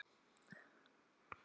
Rannsókn og úrskurður